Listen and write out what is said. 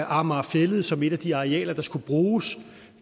amager fælled som et af de arealer der skulle bruges